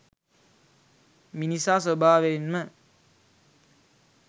මිනිසා ස්වභාවයෙන්ම